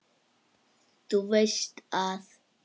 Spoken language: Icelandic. Þú veist að.